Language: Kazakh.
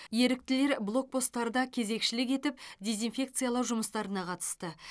еріктілер блокпостарда кезекшілік етіп дезинфекциялау жұмыстарына қатысты